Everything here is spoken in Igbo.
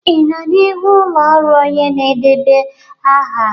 Ị nọ n'ihu ụlọ ọrụ onye na-edeba aha?